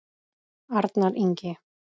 Arnar Ingi.